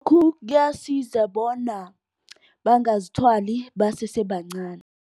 Kuyasiza bona bangazithwali basesebancani.